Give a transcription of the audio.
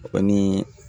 Ani